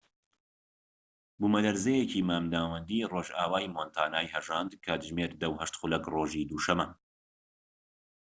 بوومەلەرزەیەکی مامناوەندی ڕۆژئاوای مۆنتانای هەژاند کاتژمێر ١٠:٠٨ خولەک رۆژی دووشەمە